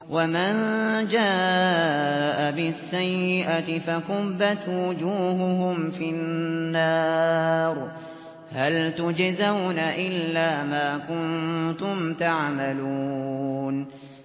وَمَن جَاءَ بِالسَّيِّئَةِ فَكُبَّتْ وُجُوهُهُمْ فِي النَّارِ هَلْ تُجْزَوْنَ إِلَّا مَا كُنتُمْ تَعْمَلُونَ